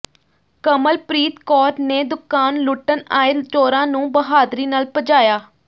ਕਮਲਪ੍ਰੀਤ ਕੌਰ ਨੇ ਦੁਕਾਨ ਲੁੱਟਣ ਆਏ ਚੋਰਾਂ ਨੂੰ ਬਹਾਦਰੀ ਨਾਲ ਭਜਾਇਆ